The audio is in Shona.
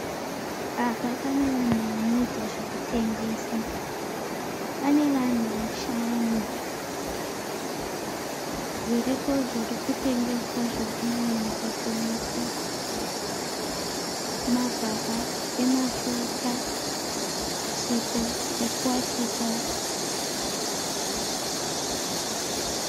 Apa pane vanhu vanoita zvekutengesa. Pane vanhu vashanu. Zviripo zvirikutengeswa zvirikunyanyisa kuonekwa , magaba emafuta nesipo yekuwachisa.